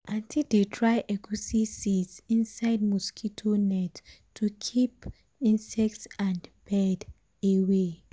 aunty dey dry egusi seeds inside mosquito net to keep um insect and bird away. um